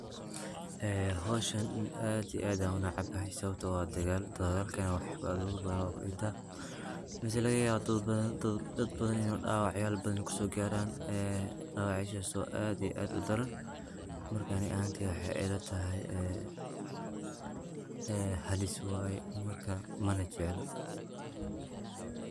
ee hoshan aad iyo aad aya unacbahay, sawabto ah waa dagal, dagalkana wax yala bathan baa kudintaa, mase lagayawa ini daad badhan dawacyal badhan kusogaran , dawacyashas o aad iyo aad u daran, Mark ani ahantey wexee ilatahay, ee halis waye, marka mana jeclo.